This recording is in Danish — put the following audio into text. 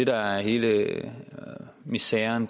der er hele miseren